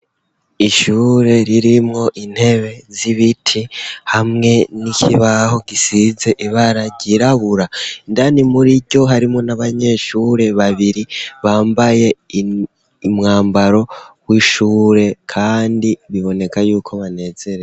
ishure ririmwo intebe z'ibiti hamwe n'ikibaho gisize ibara ryirabura, indani muriryo harimwo n'abanyeshure babiri bambaye umwambaro w'ishure kandi biboneka yuko banezerewe.